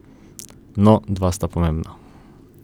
No, dva sta pomembna.